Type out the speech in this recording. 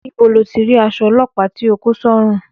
Níbo lo ti rí aṣọ ọlọ́pàá tí o kó sọ́rùn?